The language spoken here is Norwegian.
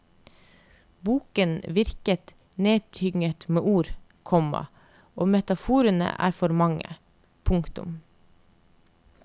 Boken virker neddynget med ord, komma og metaforene er for mange. punktum